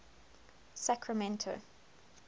sacramento